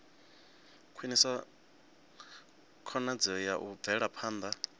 khwinisa khonadzeo ya u bvelaphanda